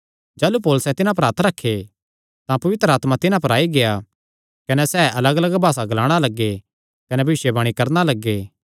जाह़लू पौलुसैं तिन्हां पर हत्थ रखे तां पवित्र आत्मा तिन्हां पर आई गेआ कने सैह़ अलगअलग भासा ग्लाणा कने भविष्यवाणी करणा लग्गे